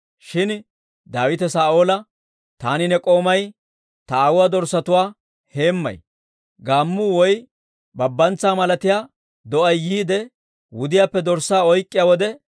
Shin Daawite Saa'oola, «Taani ne k'oomay ta aawuwaa dorssatuwaa heemmay; gaammuu woy Babbantsaa malatiyaa do'ay yiide wudiyaappe dorssaa oyk'k'iyaa wode,